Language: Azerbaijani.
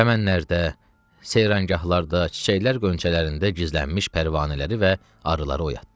Çəmənlərdə, seyrangahlarda, çiçəklər qönçələrində gizlənmiş pərvanələri və arıları oyatdı.